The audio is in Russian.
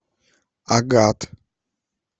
агат